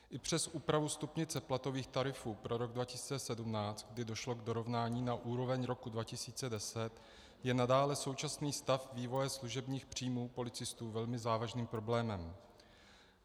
I přes úpravu stupnice platových tarifů pro rok 2017, kdy došlo k dorovnání na úroveň roku 2010, je nadále současný stav vývoje služebních příjmů policistů velmi závažným problémem.